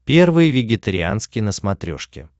первый вегетарианский на смотрешке